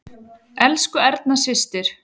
Elsku Erna systir.